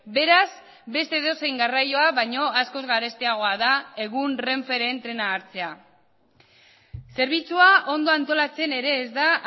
beraz beste edozein garraioa baino askoz garestiagoa da egun renferen trena hartzea zerbitzua ondo antolatzen ere ez da